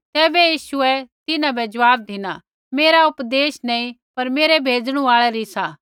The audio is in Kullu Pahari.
तैबै यीशुऐ तिन्हां बै ज़वाब धिना मेरा उपदेश नैंई पर मेरै भेजणु आल़ै री सा